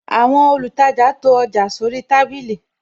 Àwọn olùtajà to ọjà sóri tábìlì